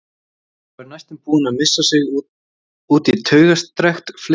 Og er næstum búin að missa sig út í taugastrekkt fliss.